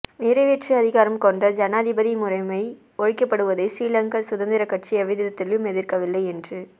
நிறைவேற்று அதிகாரம் கொண்ட ஜனாதிபதி முறைமை ஒழிக்கப்படுவதை ஸ்ரீலங்கா சுதந்திரக் கட்சி எவ்விதத்திலும் எதிர்க்கவில்லை என்று